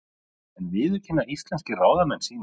En viðurkenna íslenskir ráðamenn sín mistök?